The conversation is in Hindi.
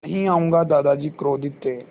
नहीं आऊँगा दादाजी क्रोधित थे